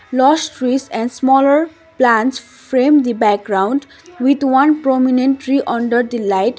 large trees and smaller plants frame the background with one prominent tree under the light.